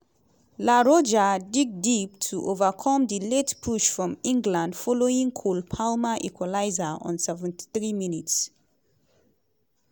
la roja dig deep to overcome di late push from england following cole palmer equaliser on 73 minutes.